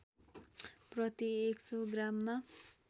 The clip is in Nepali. प्रति १०० ग्राममा